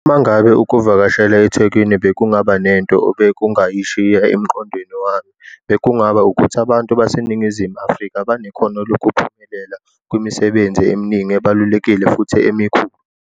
Uma ngabe ukuvakashela eThekwini bekungaba nento obekungayishiya emqondweni wami, bekungaba ukuthi abantu baseNingizimu Afrika banekhono lokuphumelela kwimisebenzi eminingi ebalulekile futhi emikhulu.